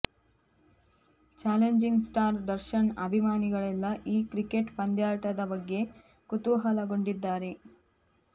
challenging star Darshan ಅಭಿಮಾನಿಗಳೆಲ್ಲ ಈ cricket ಪಂದ್ಯಾಟದ ಬಗ್ಗೆ ಕುತೂಹಲಗೊಂಡಿದ್ದಾರೆ